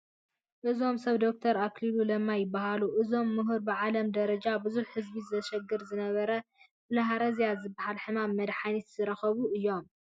እዞም ሰብ ዶክተር ኣክሉሊ ለማ ይበሃሉ፡፡ እዞም ምህር ብዓለም ጀረጃ ብዙሕ ህዝቢ የሽግር ንዝነበረ ብልሃርዝያ ዝበሃል ሕማም መድሓኒት ዝረኸቡ እዮም፡፡